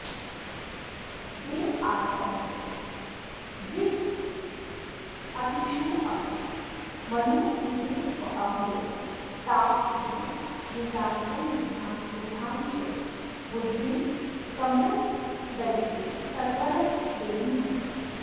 देवाचार्यद्विजातिष्वपि मनुनिवहे तावकीने नितान्तं विद्यां शुद्धां च बुद्धिं कमलजदयिते सत्वरं देहि मह्यम्